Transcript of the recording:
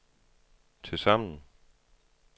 tilsammen